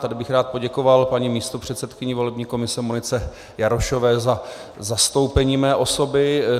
Tady bych rád poděkoval paní místopředsedkyni volební komise Monice Jarošové za zastoupení mé osoby.